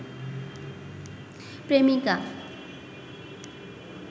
প্রেমিকা